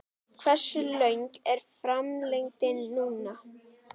Hversu löng er framlengingin núna?